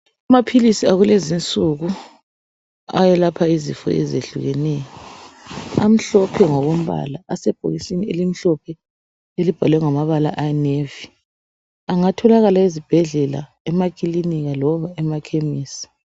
Amaphilisi akulezi nsuku ayelapha izifo ezehlukeneyo amhlophe ngombala asebhokisini elimhlophe elibhalwe ngamabala ayinevi engatholakala ezibhedlela ,emakiliniki loba emakhemesi